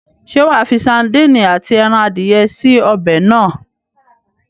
Ṣé wàá fi sadíìnì àti ẹran adìye sí ọbẹ̀ náà?